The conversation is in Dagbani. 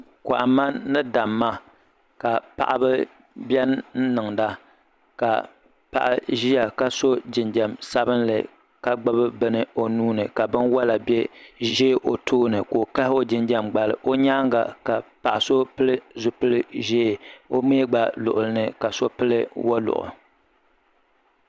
Kohamma ni damma ka paɣaba biɛ n niŋda ka paɣa ʒia ka so jinjiɛm sabinli ka gbibi bini o nuuni ka binwola ʒɛ o tooni ka o kahi o jinjiɛm gbali o nyaanga ka paɣa so pili zipil'ʒee o mee gba luɣuli ni ka so pili zipili woluɣu.